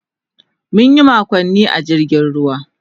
Mun yi makonni a jirgin ruwa.